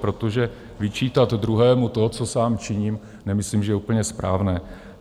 Protože vyčítat druhému to, co sám činím, nemyslím, že je úplně správné.